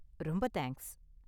ரொம்ப தேங்க்ஸ்.